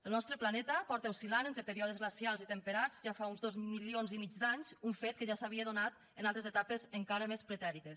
el nostre planeta porta oscil·lant entre períodes glacials i temperats ja fa uns dos milions i mig d’anys un fet que ja s’havia donat en altres etapes encara més pretèrites